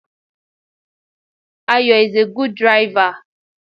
Ayo is a good driver